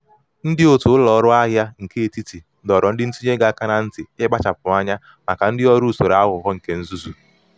ndị otu ụlọ ọrụ ahịa nke etiti doro ndị ntinye ego aka na nti ikpachapụ anya maka ndị ọrụ usoro aghụghọ nke nzuzu.